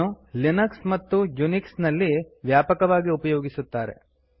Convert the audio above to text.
ಇದನ್ನು ಲಿನಕ್ಸ್ ಮತ್ತು ಯುನಿಕ್ಸ್ ನಲ್ಲಿ ವ್ಯಾಪಕವಾಗಿ ಉಪಯೋಗಿಸುತ್ತಾರೆ